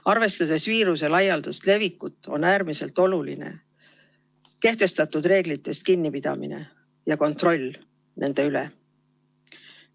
Arvestades viiruse laialdast levikut, on äärmiselt oluline kehtestatud reeglitest kinnipidamine ja kontroll nende üle.